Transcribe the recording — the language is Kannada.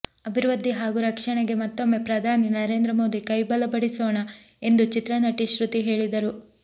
ಅಭಿವೃದ್ಧಿ ಹಾಗೂ ರಕ್ಷಣೆಗೆ ಮತ್ತೊಮ್ಮೆ ಪ್ರಧಾನಿ ನರೇಂದ್ರ ಮೋದಿ ಕೈಬಲಪಡಿಸೋಣ ಎಂದು ಚಿತ್ರನಟಿ ಶ್ರುತಿ ಹೇಳಿದರು